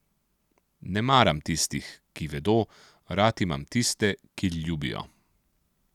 Ne maram tistih, ki vedo, rad imam tiste, ki ljubijo.